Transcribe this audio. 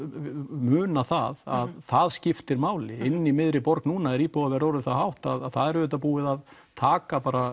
muna að það skiptir máli inni í miðri borg núna er íbúðaverð orðið það hátt að það er auðvitað búið að taka